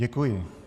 Děkuji.